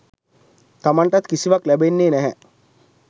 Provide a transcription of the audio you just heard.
තමන්ටත් කිසිවක් ලැබෙන්නේ නැහැ.